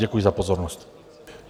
Děkuji za pozornost.